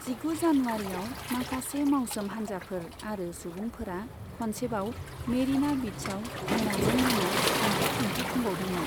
जिगु जानुआरिआव, माखासे मावसोम हानजाफोर आरो सुबुंफोरा खनसेबाव मेरिना बिचआव मोनाजों मोना हेंथा दिन्थिफुंबावदोंमोन।